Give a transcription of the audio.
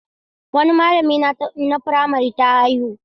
Wani malamina na firamare ta haihu.